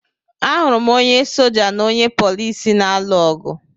Ahụrụ m onye soja na onye polisi na-alụ ọgụ